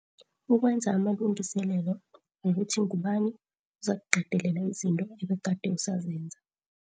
Ukwenza amalungi selelo wokuthi ngubani ozakuqedelela izinto ebegade usazenza.